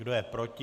Kdo je proti?